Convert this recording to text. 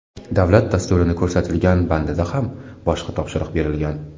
Davlat dasturini ko‘rsatilgan bandida ham boshqa topshiriq berilgan.